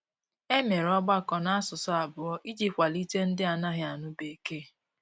E mere ọgbakọ n'asụsụ abụọ iji kwalite ndị na - anaghị anụ bekee.